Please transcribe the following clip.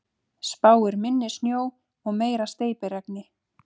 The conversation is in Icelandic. Spáir minni snjó og meira steypiregni